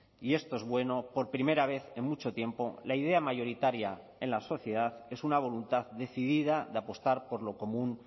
y esto es bueno por primera vez en mucho tiempo la idea mayoritaria en la sociedad es una voluntad decidida de apostar por lo común